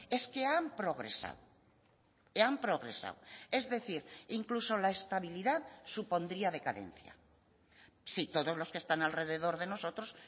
es que han progresado han progresado es decir incluso la estabilidad supondría decadencia si todos los que están alrededor de nosotros